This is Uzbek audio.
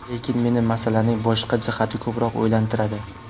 Lekin meni masalaning boshqa jihati ko‘proq o‘ylantiradi.